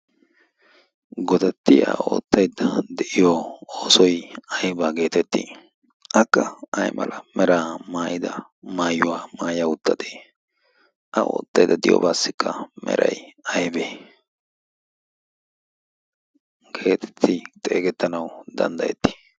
godatti a oottaidda de'iyo oosoi aibaa geetettii? akka ay mala mera maayida maayuwaa maaya uttatee a oottaidda diyoobaassikka merai aibe geetettii xeegettanau danddayettii?